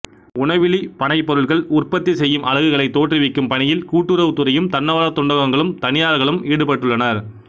உணவிலிப் பனைப்பொருள்களை உற்பத்தி செய்யும் அலகுகளை தோற்றுவிக்கும் பணியில் கூட்டுறவுத்துறையும் தன்னார்வத் தொண்டகங்களும் தனியார்களும் ஈடுபட்டுள்ளனர்